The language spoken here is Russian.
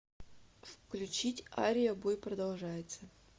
включить ария бой продолжается